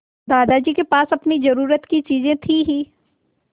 दादाजी के पास अपनी ज़रूरत की चीजें थी हीं